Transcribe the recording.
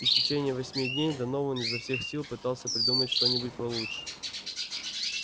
и в течение восьми дней донован изо всех сил пытался придумать что-нибудь получше